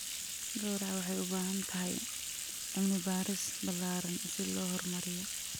Gowraca waxay u baahan tahay cilmi-baaris ballaaran si loo horumariyo.